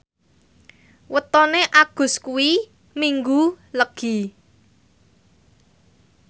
wetone Agus kuwi Minggu Legi